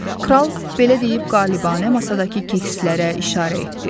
Kral belə deyib qalibanə masadakı kekslərə işarə etdi.